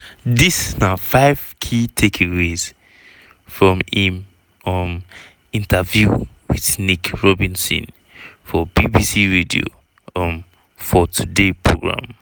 dis na five key takeaways from im um interview wit nick robinson for bbc radio um 4 today programme.